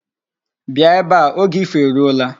Bịa ebe a. Oge ifo eruola.